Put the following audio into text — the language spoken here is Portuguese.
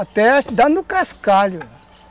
Até, dar no cascalho.